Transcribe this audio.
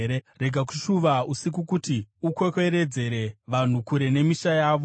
Rega kushuva usiku, kuti ukwekweredzere vanhu kure nemisha yavo.